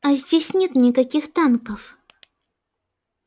а здесь нет никаких танков